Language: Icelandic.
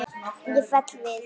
Ég fell við.